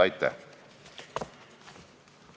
Aitäh!